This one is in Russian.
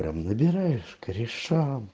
прям набираешь корешам